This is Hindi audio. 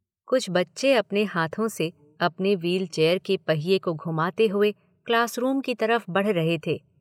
कुछ बच्चे अपने हाथों से अपने व्हील चेयर के पहिये को घुमाते हुए क्लासरूम की तरफ़ बढ़ रहे थे